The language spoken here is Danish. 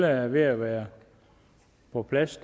er ved at være på plads